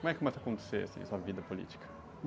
Como é que começa a acontecer, assim, a sua vida política?